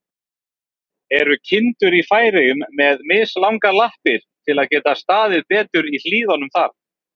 Eru kindur í Færeyjum með mislangar lappir, til að geta staðið betur í hlíðunum þar?